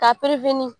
K'a